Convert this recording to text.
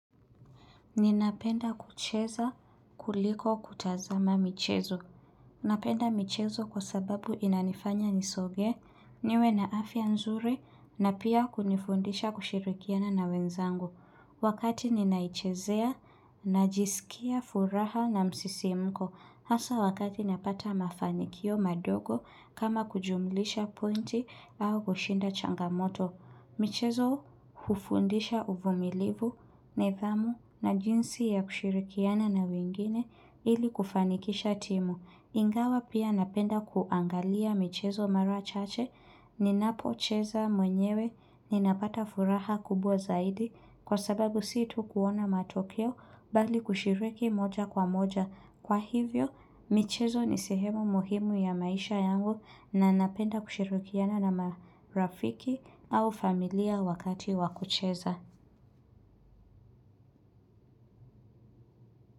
Ninapenda kucheza kuliko kutazama michezo. Napenda michezo kwa sababu inanifanya nisoge, niwe na afya nzuri, na pia kunifundisha kushirikiana na wenzangu. Wakati ninaichezea, najisikia furaha na msisimuko. Hasa wakati napata mafanikio madogo kama kujumilisha pointi au kushinda changamoto. Michezo hufundisha uvumilivu, nidhamu na jinsi ya kushirikiana na wengine ili kufanikisha timu. Ingawa pia napenda kuangalia michezo mara chache. Ninapocheza mwenyewe ninapata furaha kubwa zaidi kwa sababu si tu kuona matokeo bali kushiriki moja kwa moja. Kwa hivyo, michezo ni sehemu muhimu ya maisha yangu na napenda kushirikiana na marafiki au familia wakati wa kucheza.